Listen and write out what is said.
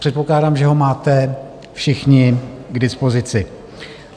Předpokládám, že ho máte všichni k dispozici.